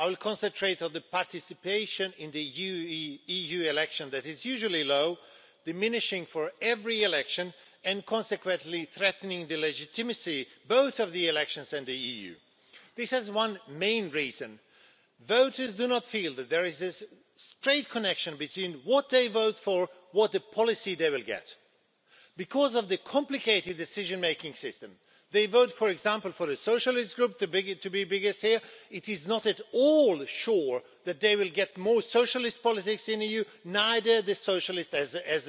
I will concentrate on the rate of participation in EU elections, which is usually low, diminishing at every election and consequently threatening the legitimacy both of the elections and the EU. There is one main reason for this voters do not feel that there is a straight connection between what they vote for and what policy they will get. Because of the complicated decision making system, if they vote, for example, for the Socialist Group to be the biggest here, it is not at all sure that they will get more socialist politics in the EU, nor a socialist in